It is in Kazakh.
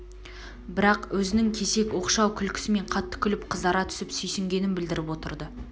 бірақ өзінің кесек оқшау күлкісімен қатты күліп қызара түсіп сүйсінгенін білдріп отырды